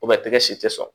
tɛgɛ si te sɔn